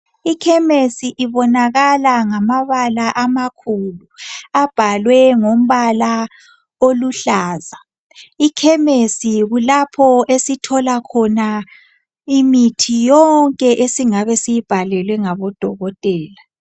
IKhemesi ibonakala ngamabala amakhulu abhaliwe ngombala oluhlaza. IKhemesi kulapho osithola khona imithi yonke esingabe siyibhalelwe ngodokotela.